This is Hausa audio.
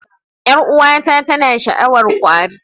Yar'uwata tana sha'awar kwari